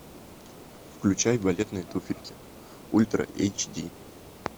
включай балетные туфельки ультра эйч ди